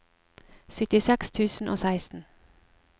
syttiseks tusen og seksten